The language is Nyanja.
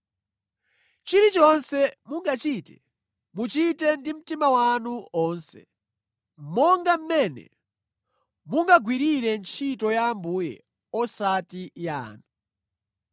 Chilichonse mungachite, muchite ndi mtima wanu onse, monga mmene mungagwirire ntchito ya Ambuye osati ya anthu.